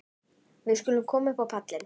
Við skulum koma upp á pallinn.